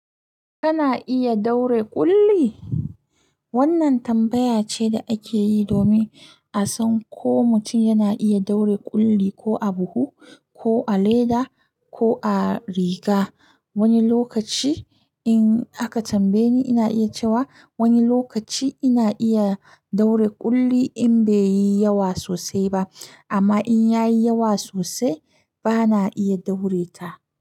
Kana iya daure ƙulli? Wannan tambaya ce da ake yi domin a san ko mutum yana iya daure ƙulli ko a buhu, ko a leda, ko a riga. Wani lokaci in aka tambaye ni, ina iya cewa wani lokaci ina iya daure ƙulli in bai yi yawa sosai ba. Amma in ya yi yawa sosai, ba na iya daure ta.